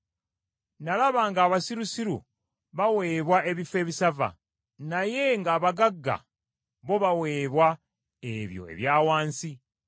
nalaba ng’abasirusiru baweebwa ebifo ebisava, naye ng’abagagga bo baweebwa ebyo ebya wansi.